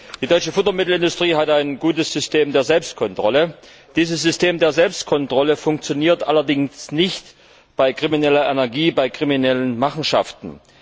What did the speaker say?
Die deutsche Futtermittelindustrie hat ein gutes System der Selbstkontrolle. Dieses System funktioniert allerdings nicht bei krimineller Energie und bei kriminellen Machenschaften.